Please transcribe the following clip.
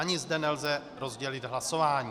Ani zde nelze rozdělit hlasování.